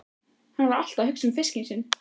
Hann var alltaf að hugsa um fiskinn sinn.